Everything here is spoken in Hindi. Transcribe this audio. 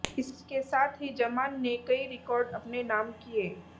इसके साथ ही जमान ने कई रिकॉर्ड अपने नाम किए